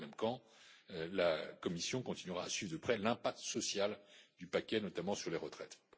cas. Dans le même temps, la Commission continuera à suivre de près l'impact social du paquet, notamment sur les retraites.